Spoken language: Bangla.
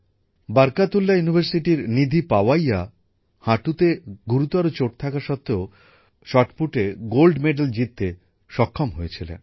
বরকতুল্লাহ বিশ্ববিদ্যালয়ের নিধি পাওয়াইয়া হাঁটুতে গম্ভীর চোট থাকা সত্ত্বেও শট পুটে স্বর্ণ পদক জিততে সক্ষম হয়েছিলেন